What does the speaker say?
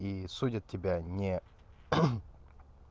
и судят тебя не